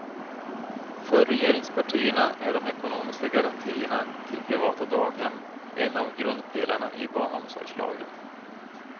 För regeringspartierna är de ekonomiska garantierna till privata daghem en av grundpelarna i barnomsorgslagen.